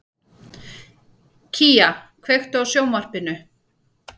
Kía, kveiktu á sjónvarpinu.